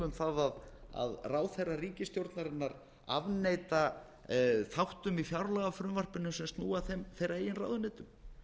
um það að ráðherra ríkisstjórnarinnar afneita þáttum í fjárlagafrumvarpinu sem snúa að þeirra eigin ráðuneytum